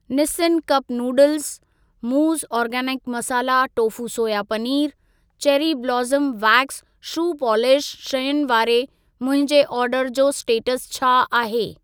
Nissin cup noodles, मूज़ organic masala tofu soya पनीरु, cherry blossom wax shoe polish शयुनि वारे मुंहिंजे ऑर्डर जो स्टेटस छा आहे?